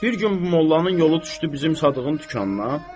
Bir gün bu mollanın yolu düşdü bizim Sadığın dükanına.